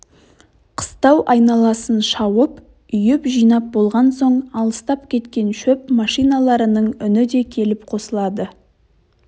қыстау айналасын шауып үйіп-жинап болған соң алыстап кеткен шөп машиналарының үні де келіп қосылады